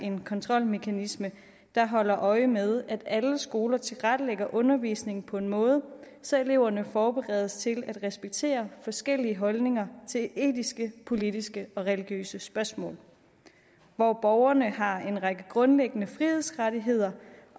en kontrolmekanisme der holder øje med at alle skoler tilrettelægger undervisningen på en måde så eleverne forberedes til at respektere forskellige holdninger til etiske politiske og religiøse spørgsmål og at borgerne har en række grundlæggende frihedsrettigheder